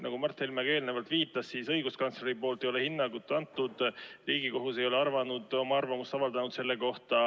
Nagu ka Mart Helme eelnevalt viitas, siis õiguskantsler ei ole hinnangut andnud, Riigikohus ei ole arvamust avaldanud.